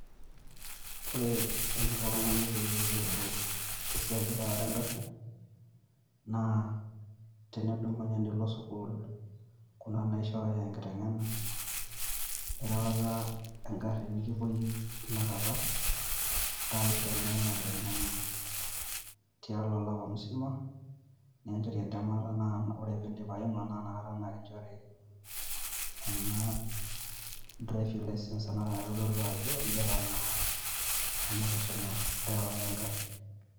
Ore eniko oltung`ani peyie eyiolou e siai e erawata e garri, naa tenidumunye nilo sukuul kuna naishoo enkiteng`ena erawata egarri nikipuoi tinakata aisho naa ina kiteng`ena tiatua olapa musima. Nikinchori entemata naa ore pee idim aima naa inakata kinchori ena driving licence ena naitodolu ajo idipa naa ena kisuma erewata e garri.